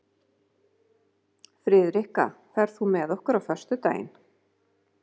Friðrikka, ferð þú með okkur á föstudaginn?